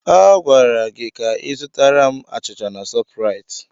Agwara gị ka ị zụtara m achịcha na Shọpraịt!